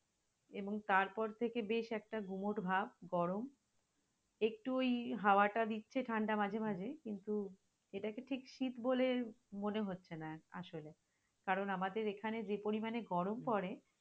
এবং তারপর থেকে বেশ একটা গুমোট ভাব, গরম একটু ওই হাওয়াটা দিচ্ছে ঠাণ্ডা মাঝে মাঝে, কিন্তু এটাকে ঠিক শীত বলে মনে হচ্ছে না আসলে, কারন আমাদের এখানে যে পরিমানে গরম পরে।